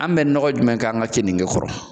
An bɛ nɔgɔ jumɛn k'an ka keninge kɔrɔ